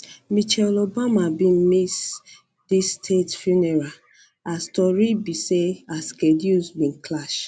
michelle obama bin miss dis state funeral as tori be say her schedules bin clash